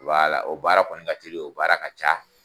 o baara kɔni ka teli o baara ka ca.